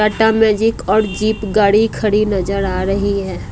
Tata magic और jeep गाड़ी खड़ी नजर आ रही है।